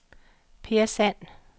Peer Sand